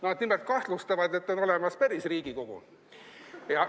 Nad nimelt kahtlustavad, et on olemas päris Riigikogu.